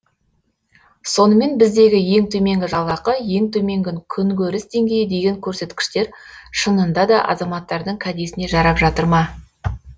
сонымен біздегі ең төменгі жалақы ең төменгі күнкөріс деңгейі деген көрсеткіштер шынында да азаматтардың кәдесіне жарап жатыр ма